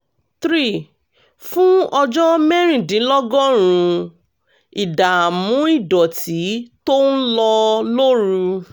three ] fún ọjọ́ mẹ́rìndínlọ́gọ́rùn-ún ìdààmú ìdọ̀tí tó ń lọ lóru